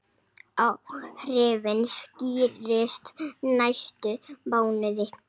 Áhrifin skýrist næstu mánuði.